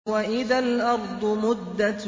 وَإِذَا الْأَرْضُ مُدَّتْ